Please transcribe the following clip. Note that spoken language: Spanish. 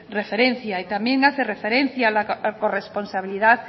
referencia y también hace referencia a la corresponsabilidad